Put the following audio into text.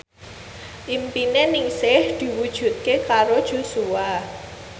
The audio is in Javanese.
impine Ningsih diwujudke karo Joshua